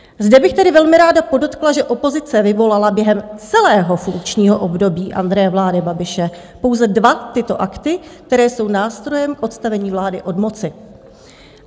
Zde bych tedy velmi ráda podotkla, že opozice vyvolala během celého funkčního období Andreje vlády Babiše pouze dva tyto akty, které jsou nástrojem k odstavení vlády od moci.